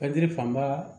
Ka jiri fanba